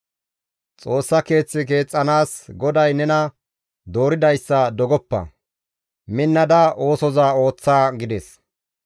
Xoossaa keeth keexxanaas GODAY nena dooridayssa dogoppa; minnada oosoza ooththa» gides.